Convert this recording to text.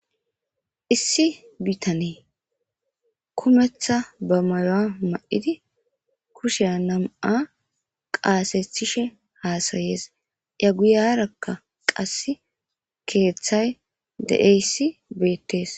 Issi bitaney kumetha mayuwa mayid kusha 2 qathethishe hasayes, aguyaraka qase kethay de'iyays betes.